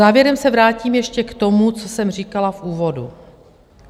Závěrem se vrátím ještě k tomu, co jsem říkala v úvodu.